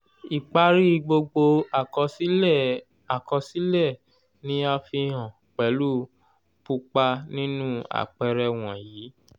ipari gbogbo àkọsílẹ àkọsílẹ ni a fihàn pelu pupa ninu àpẹẹrẹ wọ̀nyíí